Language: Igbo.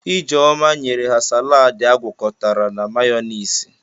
Ijeoma nyere ha saladi agwakọtara na mayọniisi.